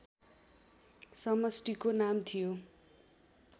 समष्टिको नाम थियो